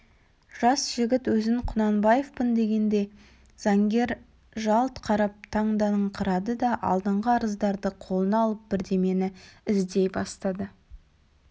жас жігіт өзін құнанбаевпын дегенде заңгер жалт қарап таңданыңқырады да алдыңғы арыздарды қолына алып бірдемені іздей бастады